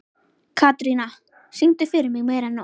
Katrína, syngdu fyrir mig „Meira En Nóg“.